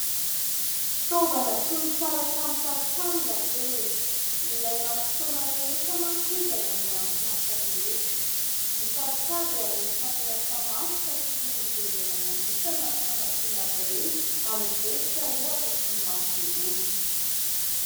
Fitaovana tsy misaraka ny tantsaha ny lapelina. Ilaina amin'ny fotoana rehetra manko izy any amin'ny anton'asa rehetra. Ny tantsaha dia anisany miasa mafy ka tokony hojerena manokana izy amin'ny fanampiana azy ireny amin'ny zezika ohatra sy ny masomboly.